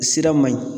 Sira man ɲi